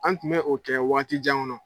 An tun bɛ o kɛ wagati jan kɔnɔ.